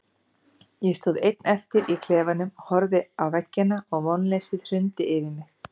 Ég stóð einn eftir í klefanum, horfði á veggina og vonleysið hrundi yfir mig.